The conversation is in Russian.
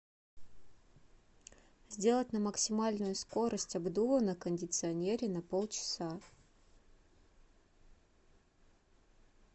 сделать на максимальную скорость обдува на кондиционере на полчаса